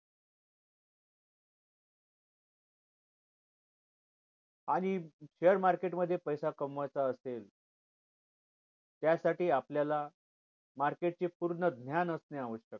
आणि share market मध्ये पैसा कमवायचं असेल त्या साठी आपल्याला market चे पूर्ण ज्ञान असणे आवश्यक आहे